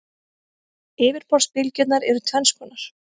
Yfirborðsbylgjurnar eru tvenns konar.